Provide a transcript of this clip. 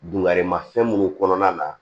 Dunkarimafɛn minnu kɔnɔna na